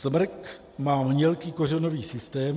Smrk má mělký kořenový systém...